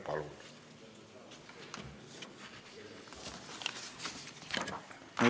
Palun!